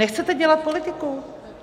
Nechcete dělat politiku?